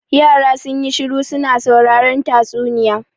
Yara sun yi shiru su na sauraren tatsuniya.